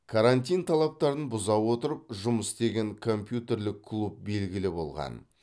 крантин талаптарын бұза отырып жұмыс істеген компьютерлік клуб белгілі болған